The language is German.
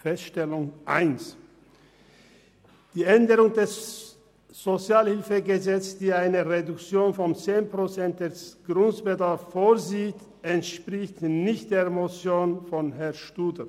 Erste Feststellung: Die Änderungen des SHG, welche eine Reduktion von 10 Prozent des Grundbedarfs vorsehen, entsprechen nicht der Motion von Herrn Studer.